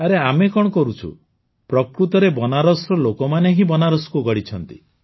ଆରେ ଆମେ କଣ କରୁଛୁ ପ୍ରକୃତରେ ବନାରସର ଲୋକମାନେ ହିଁ ବନାରସକୁ ଗଢ଼ିଛନ୍ତି